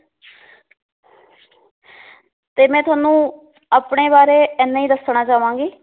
ਤੇ ਮੈ ਤੁਹਾਨੂੰ ਆਪਣੇ ਬਾਰੇ ਇੰਨਾ ਈ ਦੱਸਣਾ ਚਾਵਾਂਗੀ